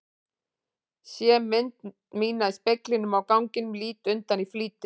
Sé mynd mína í speglinum á ganginum, lít undan í flýti.